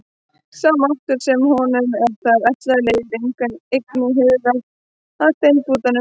Sá máttur sem honum er þar ætlaður leiðir einnig hugann að steinbúanum á Giljá.